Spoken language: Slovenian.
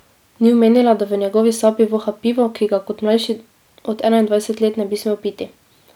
Ni omenila, da v njegovi sapi voha pivo, ki ga kot mlajši od enaindvajset let ne bi smel piti.